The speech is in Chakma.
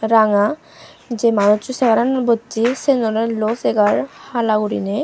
ranga jei manusso chegaranot bossey siyen oley luo chegaar hala guriney.